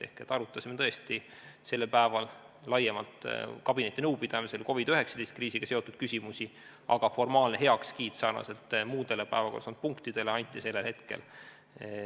Ehk me arutasime tõesti sellel päeval kabinetinõupidamisel laiemalt COVID-19 kriisiga seotud küsimusi, aga formaalne heakskiit sarnaselt muude päevakorras olnud punktidega anti sellel hetkel.